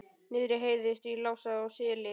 Niðri heyrðist í Lása í Seli.